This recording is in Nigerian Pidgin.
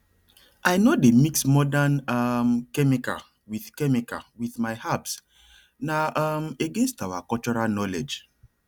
i no dey mix modern um chemical with chemical with my herbsna um against our cultural knowledge